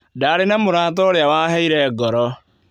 Ndarĩ na mũrata ũrĩa waheire ngoro.